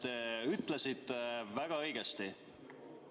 Te ütlesite väga õigesti.